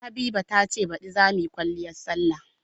Habiba ta ce baɗi za mu yi kwaliyar salla.